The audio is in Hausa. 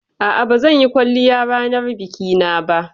A'a, ba zan yi kwalliya ranar biki na ba